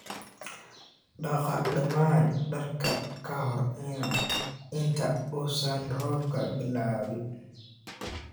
Dhaqa dhammaan dharka ka hor inta uusan roobku bilaabmin